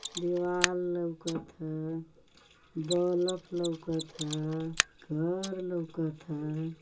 दिवाल लोकत ह बलफ लोकत ह घर लोकत ह।